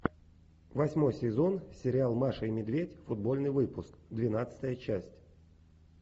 восьмой сезон сериал маша и медведь футбольный выпуск двенадцатая часть